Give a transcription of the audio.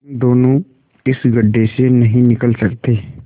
तुम दोनों इस गढ्ढे से नहीं निकल सकते